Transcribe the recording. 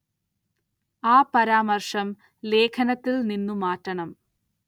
ആ പരാമര്‍ശം ലേഖനത്തില്‍ നിന്നു മാറ്റണം